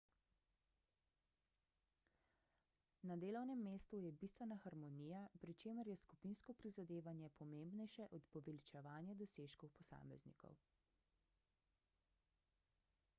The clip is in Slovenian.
na delovnem mestu je bistvena harmonija pri čemer je skupinsko prizadevanje pomembnejše od poveličevanja dosežkov posameznikov